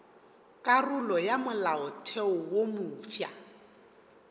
karolo ya molaotheo wo mofsa